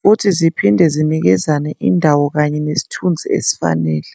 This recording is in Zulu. futhi ziphinde zinikezane indawo kanye nesithunzi esifanele.